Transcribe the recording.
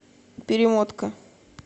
перемотка